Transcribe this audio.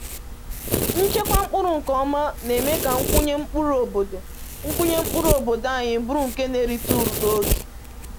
Nchekwa mkpụrụ nke ọma na-eme ka nkwụnye mkpụrụ obodo nkwụnye mkpụrụ obodo anyị bụrụ nke na-erite uru n’oge